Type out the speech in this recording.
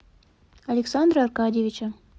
александра аркадьевича